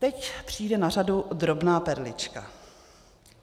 Teď přijde na řadu drobná perlička.